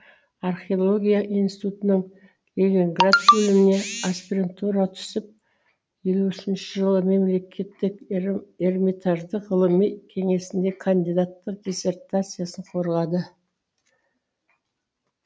археология институтының ленинград бөліміне аспирантураға түсіп елу үшінші жылы мемлекеттік эрмитаждың ғылыми кеңесінде кандидаттық диссертациясын қорғады